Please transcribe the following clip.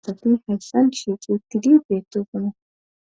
Asati hayssan dishi xuuttidi beeto funa